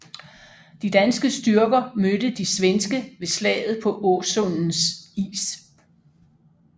De danske styrker mødte de svenske ved slaget på Åsundens is